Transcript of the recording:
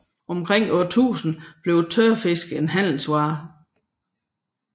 Omkring år 1000 blev tørfisk en handelsvare